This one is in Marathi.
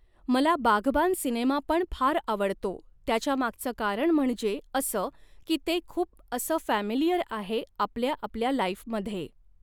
मला बाघबान सिनेमा पण फार आवडतो त्याच्यामागचं कारण म्हणजे असं की ते खूप असं फॅमिलीयरआहे आपल्या आपल्या लाईफमध्ये